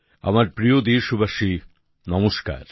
আমার প্রিয় দেশবাসী নমস্কার